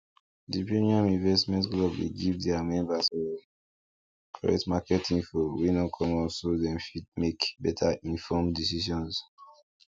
di premium investment club dey give their members um correct market info wey no common so dem fit make betterinformed decisions